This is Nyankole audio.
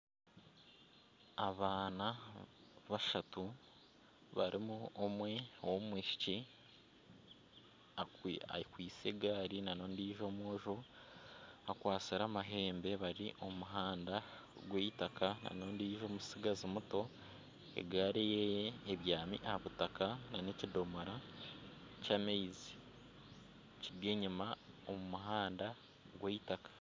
Abaana bashatu barimu omwe owomwishiki akwaitse egaari nana ondiijo omwojo akwatsire amahembe bari omu muhanda ogw'eitaka nana ondiijo mutsigazi muto egaari eye ebyami aha butaka nana ekidomora ky'amaizi kiri enyuma omu muhanda